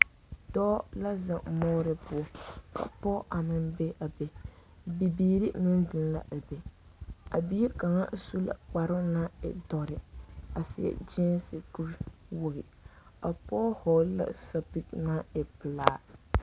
Dɔɔ la zeŋ moore poɔ ka pɔge a meŋ be a be bibiiri meŋ zeŋ la a be a bie kaŋ su la kparoo naŋ e dɔre a seɛ gyeese kuriwogi a pɔge hɔgle la sapigi naŋ e pelaa.